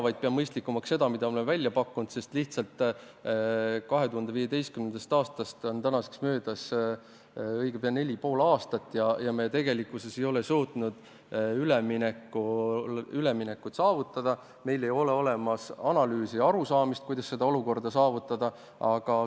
Ma pean mõistlikumaks seda, mida oleme välja pakkunud, sest 2015. aastast on õige pea möödas juba neli ja pool aastat ja me ei ole suutnud üleminekut ära teha, meil pole analüüse ega arusaamist, kuidas seda olukorda saavutada.